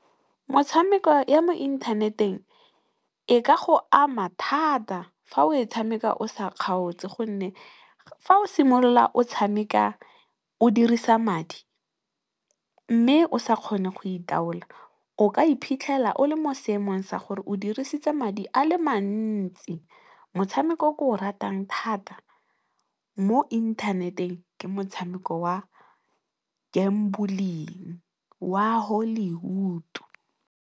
Motshameko ya mo inthaneteng e ka go ama thata fa o e tshameka o sa kgaotse gonne, fa o simolola o tshameka o dirisa madi mme, o sa kgone go itaola o ka iphitlhela o le mo seemong sa gore o dirisitse madi a le mantsi. Motshameko o ke o ratang thata mo inthaneteng ke motshameko wa go betšha wa Hollywood.